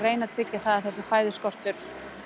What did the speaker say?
tryggja að þessi fæðuskortur